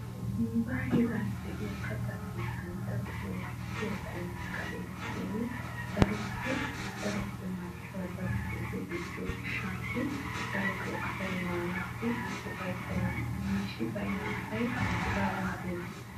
nuuga heeraa de'iya katta keettan darotoo mal''iya qumay ka'ees shin daroppe daroppe marccuwa eti daroppe gujjiyo gishshsatassi darotoo asay maanassi ufayttena. miishshi baynna asay hegaa waatti maane!